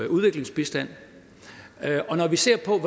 udviklingsbistand og når vi ser på